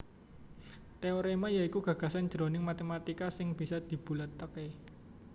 Téoréma ya iku gagasan jroning matématika sing bisa dibultèkaké